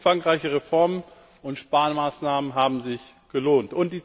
Umfangreiche Reformen und Sparmaßnahmen haben sich gelohnt.